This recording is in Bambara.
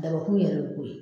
Dabɔkun yɛrɛ bɛ k'o ye